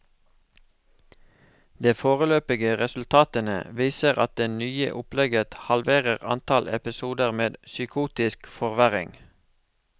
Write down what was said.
De foreløpige resultatene viser at det nye opplegget halverer antall episoder med psykotisk forverring.